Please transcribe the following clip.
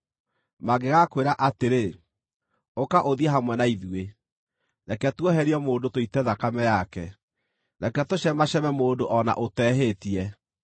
Mangĩgakwĩra atĩrĩ, “Ũka ũthiĩ hamwe na ithuĩ; reke tuoherie mũndũ tũite thakame yake, reke tũcemaceeme mũndũ o na ũtehĩtie;